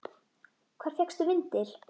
Hvar fékkstu vindil?